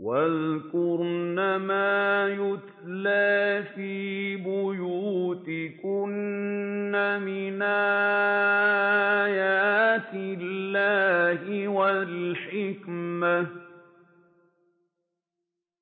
وَاذْكُرْنَ مَا يُتْلَىٰ فِي بُيُوتِكُنَّ مِنْ آيَاتِ اللَّهِ وَالْحِكْمَةِ ۚ